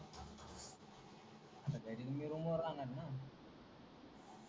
आता घरी मी रूमवर राहणार न